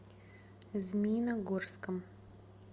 змеиногорском